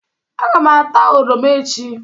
Aga m ata oroma echi.